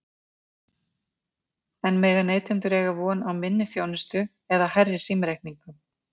En mega neytendur eiga von á minni þjónustu eða hærri símreikningum?